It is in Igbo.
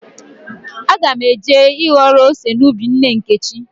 Aga m eje ịghọrọ ose n'ubi nne Nkechi.